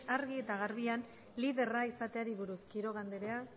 argi eta garbian liderra izateari buruz quiroga andrea